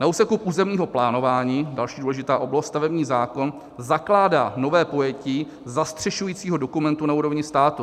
Na úseku územního plánování - další důležitá oblast - stavební zákon zakládá nové pojetí zastřešujícího dokumentu na úrovni státu.